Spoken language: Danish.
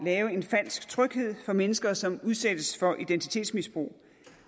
en falsk tryghed for mennesker som udsættes for identitetsmisbrug